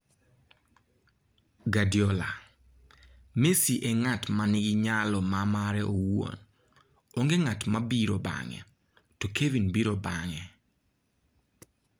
Guardiola: Messi en ng'at ma nigi nyalo ma mare owuon. Onge ng'at ma biro bang'e, to Kevin biro bang'e.